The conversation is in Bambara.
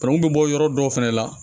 Banangun bɛ bɔ yɔrɔ dɔw fɛnɛ la